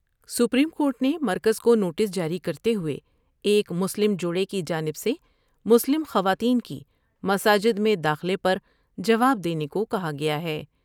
Supreme court نےمرکز کونوٹس جاری کرتے ہوۓ ایک مسلم جوڑے کی جانب سے مسلم خواتین کی مساجد میں داخلے پر جواب دینے کو کہا گیا ہے ۔